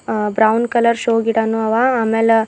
ಅ brown colour show ಗಿಡನು ಅವ ಅಮೇಲ--